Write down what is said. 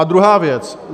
A druhá věc.